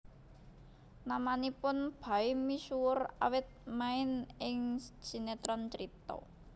Namanipun Baim misuwur awit main ing sinetron Cerita